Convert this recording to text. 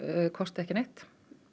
kosti ekki neitt